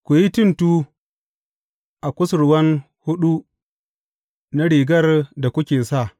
Ku yi tuntu a kusurwan huɗu na rigar da kuke sa.